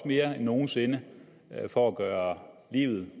mere end nogen sinde for at gøre livet